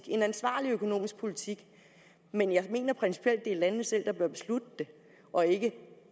en ansvarlig økonomisk politik men jeg mener principielt det er landene selv der bør beslutte det og ikke